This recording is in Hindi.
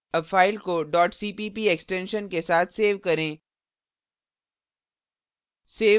अब file को cpp extension के साथ सेव करें